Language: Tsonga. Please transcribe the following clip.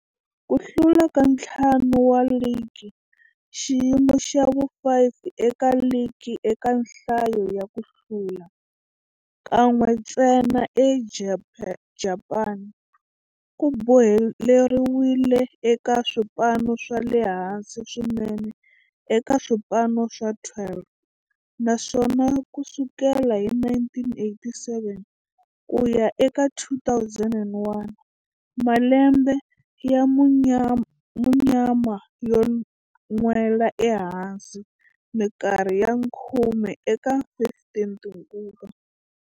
Ku hlula ka ntlhanu wa ligi, xiyimo xa vu-5 eka ligi eka nhlayo ya ku hlula, kan'we ntsena eJapani, ku boheleriwile eka swipano swa le hansi swinene eka swipano swa 12, naswona ku sukela hi 1987 ku ya eka 2001, malembe ya munyama yo nwela ehansi minkarhi ya khume eka 15 tinguva.